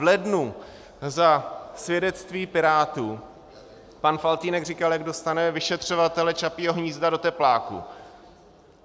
V lednu za svědectví Pirátů pan Faltýnek říkal, jak dostane vyšetřovatele Čapího hnízda do tepláků.